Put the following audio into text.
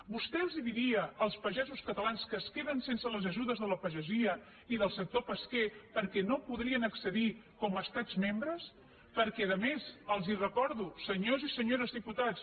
vostè els diria als pagesos catalans que es queden sense les ajudes de la pagesia i del sector pesquer perquè no podrien accedir hi com a estats membres perquè a més els ho recordo senyores i senyors diputats